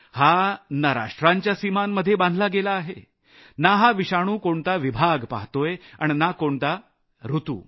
हा ना राष्ट्रांच्या सीमांमध्ये बांधला गेला आहे हा विषाणु ना कोणता विभाग पहातोय आणि ना कोणता ऋतु